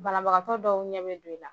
Banabagatɔ dɔw ɲɛ bɛ don i la.